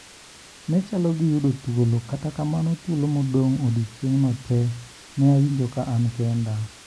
Ne chalo gi yudo thuolo kata kamano thuolo modong` odieching`no tee ne awinjo ka an kenda.